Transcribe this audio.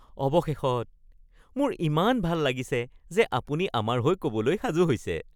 অৱশেষত! মোৰ ইমান ভাল লাগিছে যে আপুনি আমাৰ হৈ ক'বলৈ সাজু হৈছে (প্ৰফেশ্যনেল)।